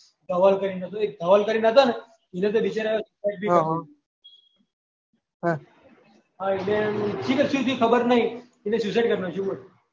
ધવલ કરી ને એક હતું એક ધવલ કરી ને હતા ને એક એના તો બિચારા એ હા એટલે શી થયી ખબર નહી એને suicide કરી નાખ્યું બોલ